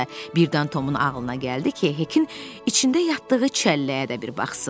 Birdən Tomun ağlına gəldi ki, Hekin içində yatdığı çəlləyə də bir baxsın.